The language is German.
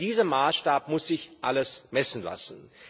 An diesem Maßstab muss sich alles messen lassen.